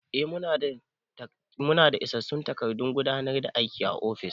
Mu na daa isassun takardun gudanar da aiki a ofis